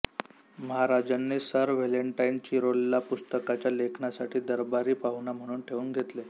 महाराजांनी sir Valentine चिरोलला पुस्तकाच्या लेखनासाठी दरबारी पाहुणा म्हणून ठेऊन घेतले